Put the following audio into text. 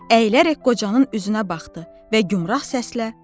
Əyilərək qocanın üzünə baxdı və gümrah səslə: